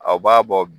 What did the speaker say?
Aw b'a bɔ